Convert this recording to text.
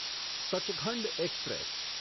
Sachkhand express